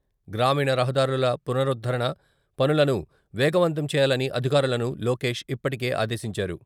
గ్రామీణ రహదారుల పునరుద్ధరణ పనులను వేగవంతం చేయాలని అధికారులను లోకేష్ ఇప్పటికే ఆదేశించారు.